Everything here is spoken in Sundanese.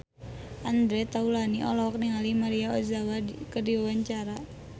Andre Taulany olohok ningali Maria Ozawa keur diwawancara